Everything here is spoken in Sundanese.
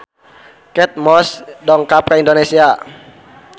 Kate Moss dongkap ka Indonesia